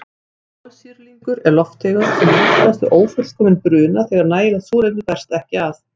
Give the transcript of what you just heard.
Kolsýrlingur er lofttegund sem myndast við ófullkominn bruna þegar nægilegt súrefni berst ekki að.